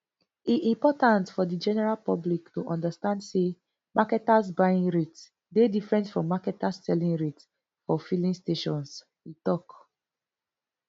e important for di general public to understand say marketers buying rate dey different from marketers selling rate for filling stations e tok